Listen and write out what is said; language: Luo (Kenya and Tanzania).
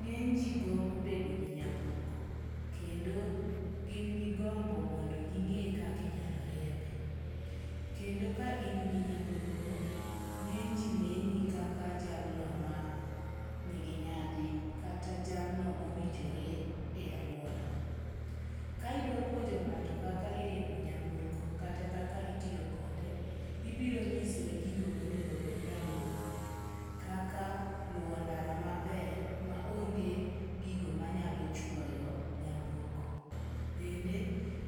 Ng'eny ji gombo bedo gi nyamburko. Kendo gin gi gombo mondo ging'e kaka inyalo riembe. Kendo ka in gi nyamburko, ng'eny ji neni kaka jalno ma nigi nyadhi. Kata jalno mowinjore e aluora. Kaidwapuonjo ng'ato kaka iriembo nyamburko kata kaka itiyo kode, ibiro nyise gigo monego bed ni oluwo kaka luwo ndara maber ma onge gigo manyalo chwoyo nyamburko. Bende